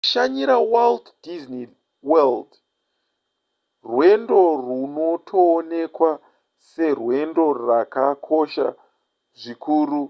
kushanyira walt disney world rwendo runotoonekwa serwendo rwakakosha zvikuru